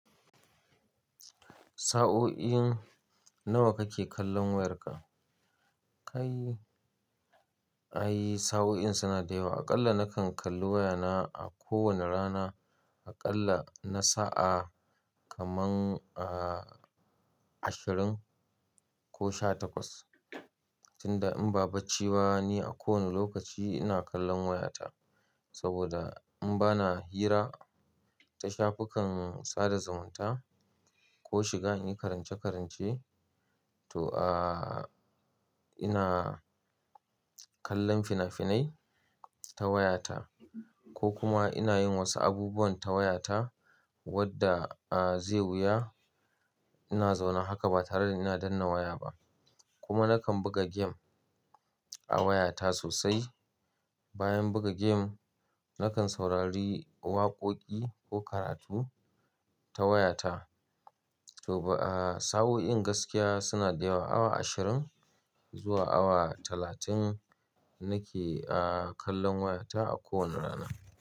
Sa'o'i nawa kake kallon wayarka? Kai, ai sa'o'i suna da yawa. Aƙalla nakan kalli wayana a kowane rana, aƙalla na sa'a kaman, ah, ashirin ko sha takwas. Tunda in ba bacci ba ni, a kowane lokaci ina kallon wayata. Saboda in bana hira ta shafukan sada zumunta ko shiga in yi karance-karance, to, ah, ina kallon fina-finai ta wayata ko kuma ina yin wasu abubuwan ta wayata wadda, ah, zai wuya ina zauna haka ba tare da danna waya ba. Kuma nakan buga gem a wayata sosai. Bayan buga gem, nakan saurari waƙoƙi ko karatu ta wayata. To ba, eh, sa'o'in gaskiya suna da yawa. Awa ashirin zuwa awa talatin nake, ah, kallon wayata a kowane rana.